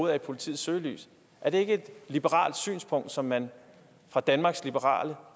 er i politiets søgelys er det ikke et liberalt synspunkt som man fra danmarks liberale